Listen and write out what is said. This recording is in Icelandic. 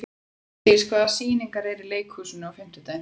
Úlfdís, hvaða sýningar eru í leikhúsinu á fimmtudaginn?